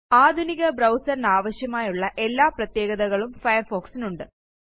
ആധുനിക ബ്രൌസറിനാവശ്യമായുള്ള എല്ലാ പ്രത്യേകതകളും Firefoxനുണ്ട്